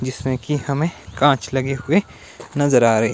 जिसमें कि हमें कांच लगे हुए नजर आ रहे।